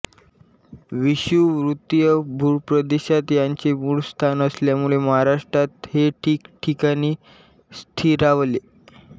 विषुववृत्तीय भूप्रदेशात याचे मूळ स्थान असल्यामुळे महाराष्ट्रात हे ठिकठिकाणी स्थिरावले